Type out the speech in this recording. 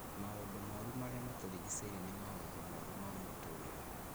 maũndũ moru marĩa matũrigicĩirie, na maũndũ moru ma mũtũũrĩre.